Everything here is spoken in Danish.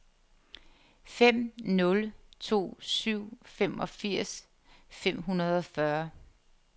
fem nul to syv femogfirs fem hundrede og fyrre